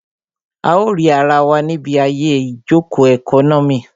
A ó rì ara wa níbi àyè ìjòkó ẹkọ́nọ́mì